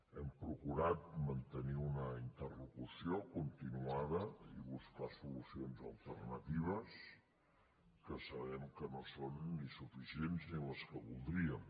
hem procurat mantenir una interlocució continuada i buscar solucions alternatives que sabem que no són ni suficients ni les que voldríem